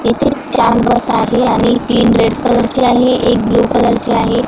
इथे चार बस आहे आणि तीन रेड कलर चे आणि एक ब्ल्यू कलर चे आहे.